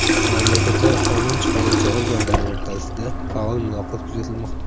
Mamlakatlar qonun chiqaruvchi organlari o‘rtasida faol muloqot kuzatilmoqda.